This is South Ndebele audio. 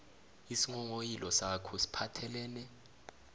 isinghonghoyilo sakho siphathelene